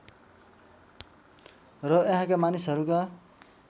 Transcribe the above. र यहाँका मानिसहरूका